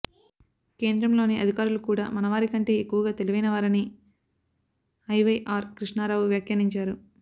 కేంద్రంలోని అధికారులు కూడా మన వారికంటే ఎక్కువగా తెలివైన వారని ఐవైఆర్ కృష్ణారావు వ్యాఖ్యానించారు